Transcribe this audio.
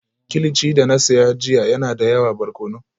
Kimchi da na saya jiya yana da yawa barkono